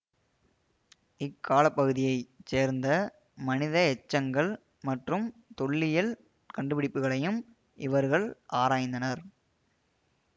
இக்காலப்பகுதியைச் சேர்ந்த மனித எச்சங்கள் மற்றும் தொல்லியல் கண்டுபிடிப்புகளையும் இவர்கள் ஆராய்ந்தனர்